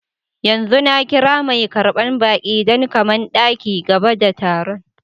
Yanzu na kira mai karban baki dan kaman daki gaba da tarun.